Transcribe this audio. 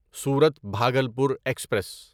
صورت بھاگلپور ایکسپریس